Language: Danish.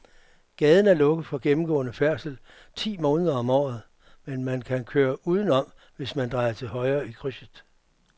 Gaden er lukket for gennemgående færdsel ti måneder om året, men man kan køre udenom, hvis man drejer til højre i krydset.